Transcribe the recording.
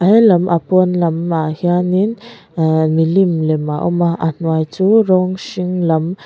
he lam apawn lam ah hianin ahh milim lem a awm a a hnuai chu rawng hring lam--